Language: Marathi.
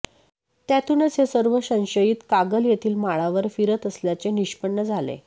त्यातूनच हे सर्व संशयित कागल येथील माळावर फिरत असल्याचे निष्पन्न झाले